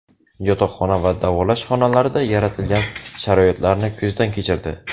Yotoqxona va davolash xonalarida yaratilgan sharoitlarni ko‘zdan kechirdi.